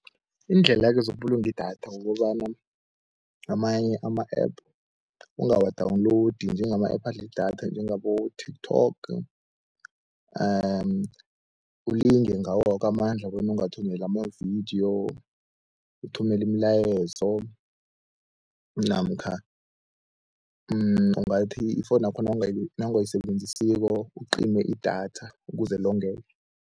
Iindlela-ke zokubulunga idatha, kukobana amanye ama-app ungawa-download njengama-app adla idatha, njengabo-TikTok ulinge ngawo woke amandla bona ungathumeli amavidiyo, uthumele imilayezo namkha ungathi ifowunakho nawungayisebenzisiko ucime idatha ukuze longeke.